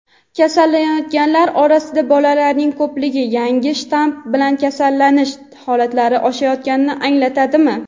Kasallanayotganlar orasida bolalarning ko‘pligi yangi shtamm bilan kasallanish holatlari oshayotganini anglatadimi?.